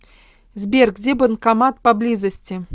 сбер где банкомат поблизости